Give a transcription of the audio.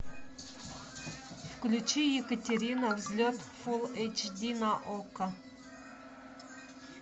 включи екатерина взлет фулл эйч ди на окко